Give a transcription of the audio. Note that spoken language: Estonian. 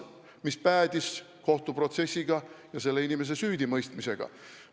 See päädis kohtuprotsessiga ja selle inimese süüdimõistmisega.